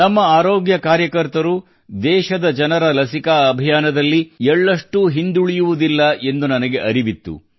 ನಮ್ಮ ಆರೋಗ್ಯ ಕಾರ್ಯಕರ್ತರು ದೇಶದ ಜನರ ಲಸಿಕಾ ಅಭಿಯಾನದಲ್ಲಿ ಎಳ್ಳಷ್ಟೂ ಹಿಂದುಳಿಯುವುದಿಲ್ಲ ಎಂದು ನನಗೆ ಅರಿವಿತ್ತು